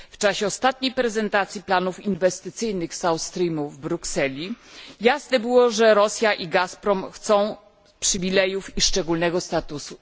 W czasie ostatnich prezentacji planów inwestycyjnych z South Streamu w Brukseli jasne było, że Rosja i Gazprom chcą przywilejów i szczególnego statusu.